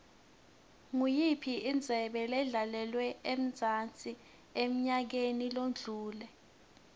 iyiphi indebe edlalelwe emzansi enyakeni odlule